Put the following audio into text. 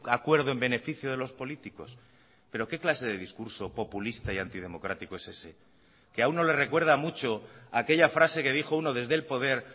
acuerdo en beneficio de los políticos pero qué clase de discurso populista y antidemocrático es ese que a uno le recuerda mucho aquella frase que dijo uno desde el poder